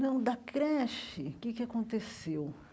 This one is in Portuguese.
Não, da creche, o que é que aconteceu?